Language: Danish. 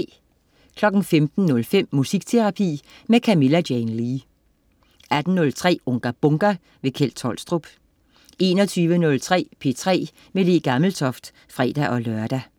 15.05 Musikterapi med Camilla Jane Lea 18.03 Unga Bunga! Kjeld Tolstrup 21.03 P3 med Le Gammeltoft (fre-lør)